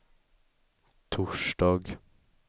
torsdag